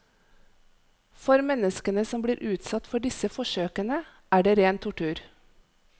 For menneskene som blir utsatt for disse forsøkene, er det ren tortur.